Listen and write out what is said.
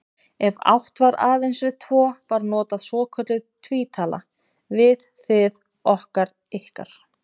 Ef átt var aðeins við tvo var notuð svokölluð tvítala, við, þið, okkar, ykkar.